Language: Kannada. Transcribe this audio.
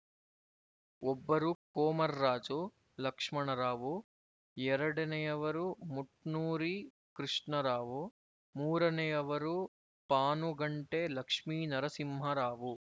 ಒಬ್ಬರು ಕೊಮರ್ರಾಜು ಲಕ್ಷ್ಮಣರಾವು ಎರಡನೆಯವರು ಮುಟ್ನೂರಿ ಕೃಷ್ಣಾರಾವು ಮೂರನೆಯವರು ಪಾನುಗಂಟೆ ಲಕ್ಷ್ಮೀನರಸಿಂಹಾರಾವು